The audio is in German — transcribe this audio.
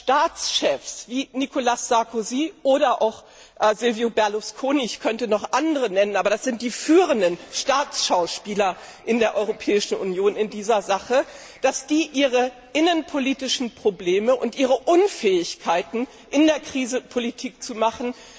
Staatschefs wie Nicolas Sarkozy oder auch Silvio Berlusconi ich könnte noch andere nennen, aber das sind die führenden Staatsschauspieler in der Europäischen Union in dieser Sache ihre innenpolitischen Probleme und ihre Unfähigkeit, in der Krise Politik zu machen,